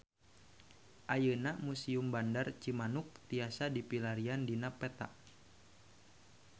Ayeuna Museum Bandar Cimanuk tiasa dipilarian dina peta